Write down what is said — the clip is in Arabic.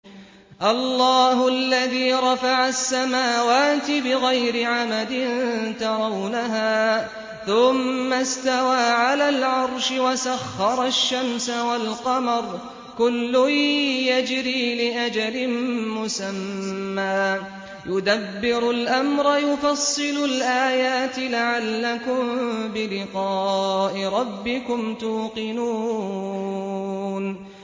اللَّهُ الَّذِي رَفَعَ السَّمَاوَاتِ بِغَيْرِ عَمَدٍ تَرَوْنَهَا ۖ ثُمَّ اسْتَوَىٰ عَلَى الْعَرْشِ ۖ وَسَخَّرَ الشَّمْسَ وَالْقَمَرَ ۖ كُلٌّ يَجْرِي لِأَجَلٍ مُّسَمًّى ۚ يُدَبِّرُ الْأَمْرَ يُفَصِّلُ الْآيَاتِ لَعَلَّكُم بِلِقَاءِ رَبِّكُمْ تُوقِنُونَ